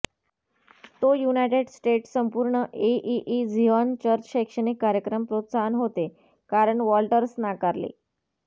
तो United States संपूर्ण एईई झिऑन चर्च शैक्षणिक कार्यक्रम प्रोत्साहन होते कारण वॉल्टर्स नाकारले